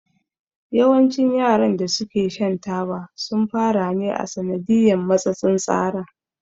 Yawancin yaran da su ke shan taba sun fara ne a sanadiyan matsatsin tsara